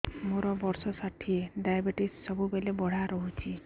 ମୋର ବର୍ଷ ଷାଠିଏ ଡାଏବେଟିସ ସବୁବେଳ ବଢ଼ା ରହୁଛି